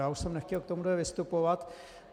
Já už jsem nechtěl k tomuhle vystupovat.